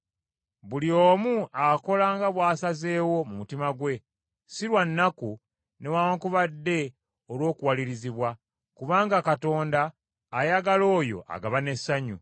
Buli omu akola nga bw’asazeewo mu mutima gwe, si lwa nnaku, newaakubadde olw’okuwalirizibwa, kubanga Katonda ayagala oyo agaba n’essanyu.